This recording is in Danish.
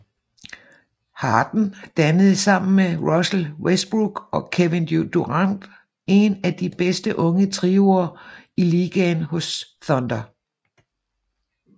Harden dannede sammen med Russell Westbrook og Kevin Durant en af de bedste unge trioer i ligaen hos Thunder